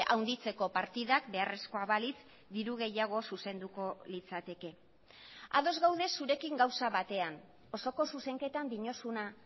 handitzeko partidak beharrezkoa balitz diru gehiago zuzenduko litzateke ados gaude zurekin gauza batean osoko zuzenketan diozuna